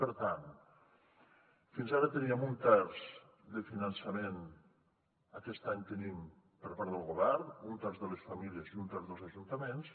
per tant fins ara teníem un terç de finançament aquest any tenim per part del govern un terç de les famílies i un terç dels ajuntaments